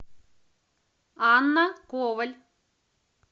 анна коваль